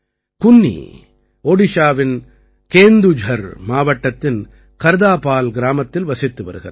குன்னீ ஒடிஷாவின் கேந்துஜர் மாவட்டத்தின் கர்தாபால் கிராமத்தில் வசித்து வருகிறார்